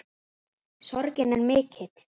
Sorgin er mikill.